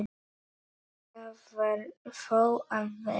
Það varð þó að verða.